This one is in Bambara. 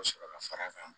sɔrɔ ka fara a kan